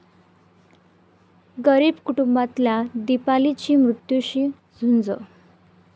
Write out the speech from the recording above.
गरीब कुटुंबातल्या दीपालीची मृत्यूशी झुंज